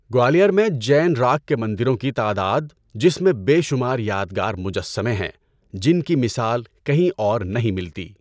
گوالیار میں جین راک کے مندروں کی تعداد، جس میں بے شمار یادگار مجسمے ہیں، جن کی مثال کہیں اور نہیں ملتی۔